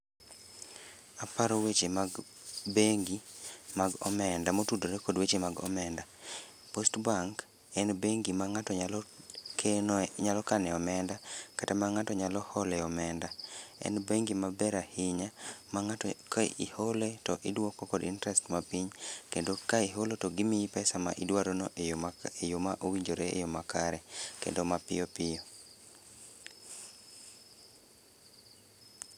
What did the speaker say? Aparo weche mag bengi mag omenda, motudre kod weche mag omenda. Postbank, en bengi ma ng'ato nyalo kenoe nyalo kane omenda, kata ma ng'ato nyalo hole omenda. En bengi maber ahinya, ma ng'ato ka ihole to iduoko kod interest mapiny, kendo ka iholo to gimiyi pesa ma idwarono e yo ma e yo ma owinjore eyo makare kendo mapiyopiyo